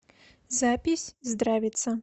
запись здравица